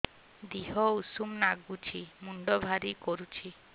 ଦିହ ଉଷୁମ ନାଗୁଚି ମୁଣ୍ଡ ଭାରି କରୁଚି